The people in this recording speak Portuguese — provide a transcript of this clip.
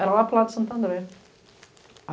Era lá para o lado de Santo André.